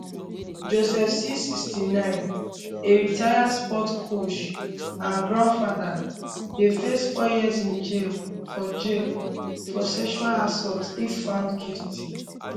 joseph c 69 a retired sports coach and grandfather dey face four years in jail for jail for sexual assault if found guilty